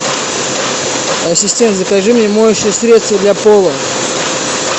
ассистент закажи мне моющее средство для пола